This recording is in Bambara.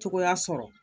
Cogoya sɔrɔ